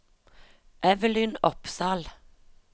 Evelyn Opsahl